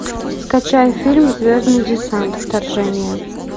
скачай фильм звездный десант вторжение